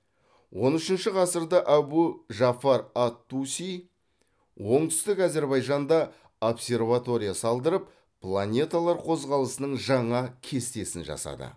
он үшінші ғасырда әбу жафар ат туси оңтүстік әзірбайжанда обсерватория салдырып планеталар қозғалысының жаңа кестесін жасады